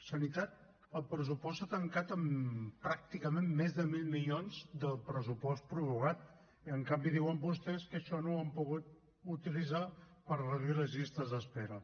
sanitat el pressupost s’ha tancat amb pràcticament més de mil milions del pressupost prorrogat i en canvi diuen vostès que això no ho han pogut utilitzar per reduir les llistes d’espera